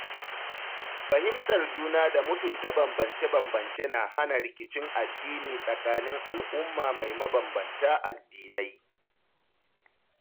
Fahimtar juna da mutunta bambance-bambance na hana rikicin addini tsakanin al’umma mai mabambanta addinai.